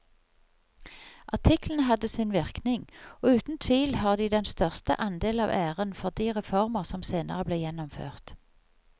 Artiklene hadde sin virkning og uten tvil har de den største andel av æren for de reformer som senere ble gjennomført.